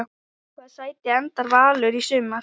Í hvaða sæti endar Valur í sumar?